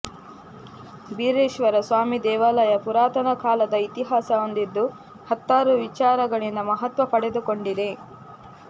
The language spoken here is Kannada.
ಬೀರೇಶ್ವರ ಸ್ವಾಮಿ ದೇವಾಲಯ ಪುರಾತನ ಕಾಲದ ಇತಿಹಾಸ ಹೊಂದಿದ್ದು ಹತ್ತಾರು ವಿಚಾರಗಳಿಂದ ಮಹತ್ವ ಪಡೆದುಕೊಂಡಿದೆ